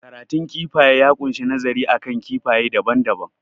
Karatun kifaye ya kunshi nazari akan kifaye daban daban